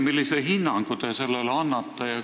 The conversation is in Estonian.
Millise hinnangu te sellele annate?